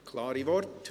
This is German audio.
Klare Worte.